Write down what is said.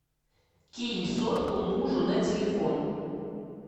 кинь сотку мужу на телефон